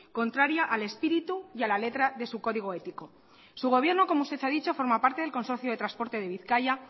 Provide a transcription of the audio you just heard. contraria al espíritu y a la letra de su código ético su gobierno como usted ha dicho forma parte del consorcio de transportes de bizkaia